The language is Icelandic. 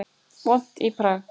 Vont í Prag